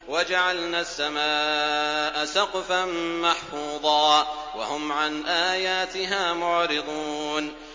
وَجَعَلْنَا السَّمَاءَ سَقْفًا مَّحْفُوظًا ۖ وَهُمْ عَنْ آيَاتِهَا مُعْرِضُونَ